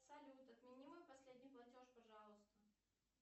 салют отмени мой последний платеж пожалуйста